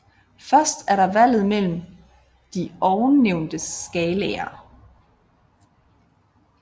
Først er der valget mellem de ovennævnte skalaer